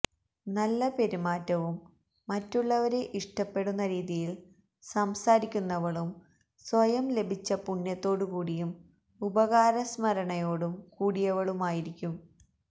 നല്ല പെരുമാറ്റവും മറ്റുള്ളവരെ ഇഷ്ടപ്പെടുന്ന രീതിയിൽ സംസാരിക്കുന്നവളും സ്വയം ലഭിച്ച പുണ്യത്തോടു കൂടിയും ഉപകാരസ്മരണയോടും കൂടിയവളുമായിരിക്കും